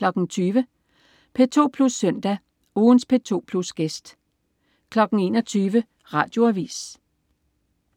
20.00 P2 Plus Søndag. Ugens P2 Plus-gæst 21.00 Radioavis